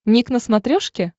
ник на смотрешке